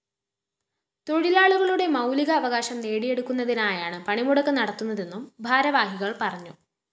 തൊഴിലാളികളുടെ മൗലീക അവകാശം നേടിയെടുക്കുന്നതിനായാണ് പണിമുടക്ക് നടത്തുന്നതെന്നും ഭാരവാഹികള്‍ പറഞ്ഞു